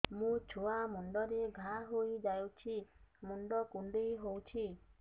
ମୋ ଛୁଆ ମୁଣ୍ଡରେ ଘାଆ ହୋଇଯାଇଛି ମୁଣ୍ଡ କୁଣ୍ଡେଇ ହେଉଛି